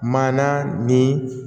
Maana ni